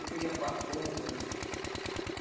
Do que já passou da.